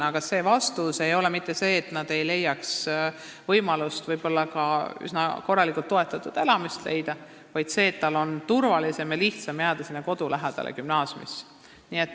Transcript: Vastus ei ole mitte see, et ei oleks võimalust ka üsna korraliku toetusega elamist leida, vaid õpilasel on turvalisem ja lihtsam jääda kodu lähedale gümnaasiumisse.